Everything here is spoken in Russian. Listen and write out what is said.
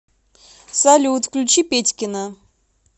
салют включи петькино